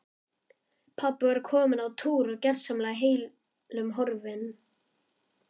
Pabbi var kominn á túr og gersamlega heillum horfinn.